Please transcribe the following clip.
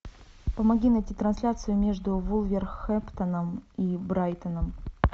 помоги найти трансляцию между вулверхэмптоном и брайтоном